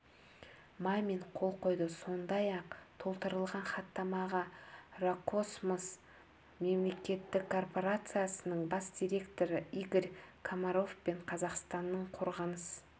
мамин қол қойды сондай-ақ толтырылған хаттамаға роскосмос мемлекеттік корпорациясының бас директоры игорь комаров пен қазақстанның қорғаныс